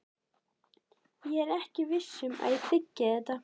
Ég er ekki viss um að ég þiggi þetta.